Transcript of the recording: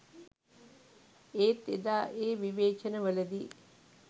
ඒත් එදා ඒ විවේචන වලදී